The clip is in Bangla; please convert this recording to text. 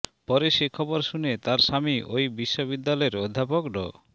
পরে সে খবর শুনে তার স্বামী ওই বিশ্ববিদ্যালয়ের অধ্যাপক ড